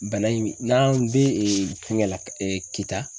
Bana in bi ,n'an be ee fɛngɛ la kita